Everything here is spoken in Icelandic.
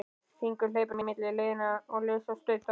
Hringur hleypur á milli leiðanna, les og stautar.